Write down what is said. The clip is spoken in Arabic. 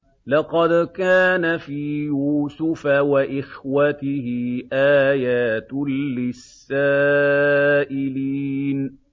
۞ لَّقَدْ كَانَ فِي يُوسُفَ وَإِخْوَتِهِ آيَاتٌ لِّلسَّائِلِينَ